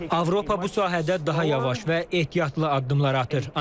Avropa bu sahədə daha yavaş və ehtiyatlı addımlar atır.